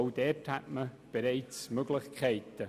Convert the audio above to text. Auch dort bestünden Möglichkeiten.